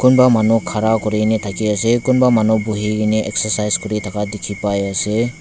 kunba manu khara kuri kena thaki ase kunba manu buhi kene exercise kuri thaka dikhi pai ase.